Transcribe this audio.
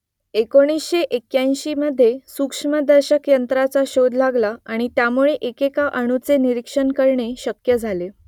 एकोणीसशे एक्क्याऐंशीमध्ये सूक्ष्मदर्शक यंत्राचा शोध लागला आणि त्यामुळे एकेका अणुचे निरिक्षण करणे शक्य झाले